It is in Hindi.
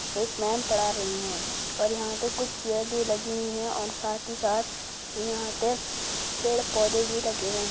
एक मेम पढ़ा रही है और यहां पे कुछ चेयर भी लगी हुई है और साथ ही साथ यहां पे पेड़ पोधे भी लगे हुए है।